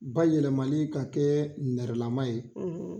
Bayɛlɛmalen ka kɛ nɛrɛlama ye